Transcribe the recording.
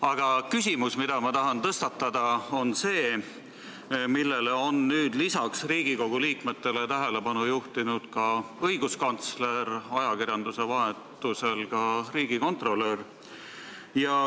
Aga teemale, mille ma tahan tõstatada, on lisaks Riigikogu liikmetele tähelepanu juhtinud õiguskantsler ning ajakirjanduse vahendusel ka riigikontrolör.